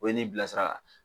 O ye nin bilasira.